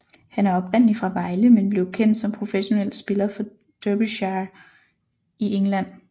Han er oprindelig fra Vejle men blev kendt som professionel spiller for Derbyshire i England